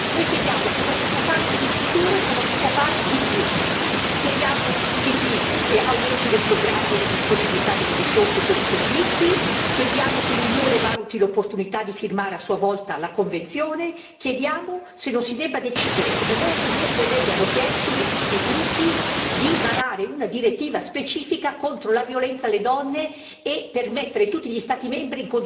Chiediamo che si aumentino i programmi e le disponibilità delle risorse per i servizi, chiediamo che l'Unione valuti l'opportunità di firmare a sua volta la convenzione, chiediamo se non si debba decidere come molte mie colleghe di tutti i gruppi hanno chiesto di varare una direttiva specifica contro la violenza alle donne e per mettere tutti gli Stati membri in condizione di avere norme adeguate alla drammaticità del problema.